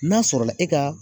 N'a sɔrɔla e ka